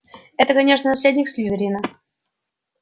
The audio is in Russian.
это конечно наследник слизерина